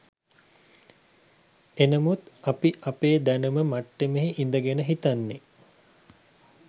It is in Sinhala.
එනමුත් අපි අපේ දැනුම මට්ටමේ ඉඳගෙන හිතන්නෙ